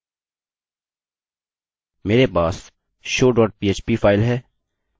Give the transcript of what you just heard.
मेरे पास show dot php file है जिसके साथ हम काम करेंगे